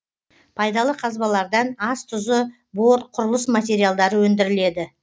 пайдалы казбалардан ас тұзы бор құрылыс материалдары өндіріледі